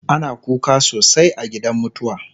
ana kuka sosai a gidan mutuwa